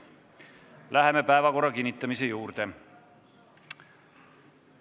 Läheme päevakorra kinnitamise juurde.